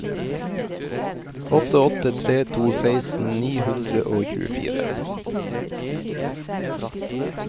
åtte åtte tre to seksten ni hundre og tjuefire